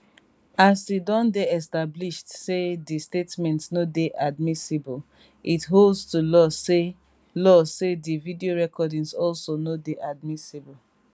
as e don dey established say di statement no dey admissible it holds to law say law say di video recordings also no dey admissible